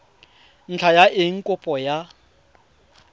ntlha ya eng kopo ya